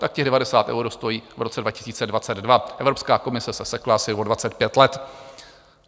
Tak těch 90 eur stojí v roce 2022, Evropská komise se sekla asi o 25 let.